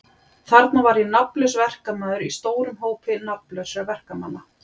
Þarna var ég nafnlaus verkamaður í stórum hópi nafnlausra verkamanna.